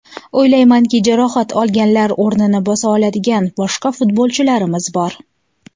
O‘ylaymanki, jarohat olganlar o‘rnini bosa oladigan boshqa futbolchilarimiz bor.